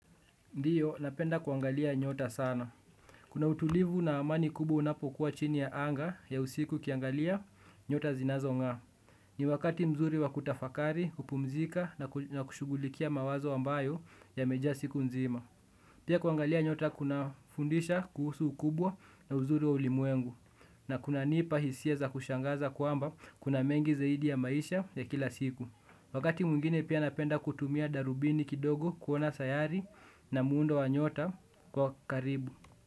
Ndiyo, napenda kuangalia nyota sana. Kuna utulivu na amani kubwa unapokuwa chini ya anga ya usiku ukiangalia, nyota zinazong'aa. Ni wakati mzuri wa kutafakari, kupumzika na kushugulikia mawazo ambayo yamejaa siku nzima. Pia kuangalia nyota, kunafundisha kuhusu ukubwa na uzuri wa ulimwengu. Na kunanipa hisia za kushangaza kwamba kuna mengi zaidi ya maisha ya kila siku. Wakati mwingine pia napenda kutumia darubini kidogo kuona sayari na muundo wa nyota kwa karibu.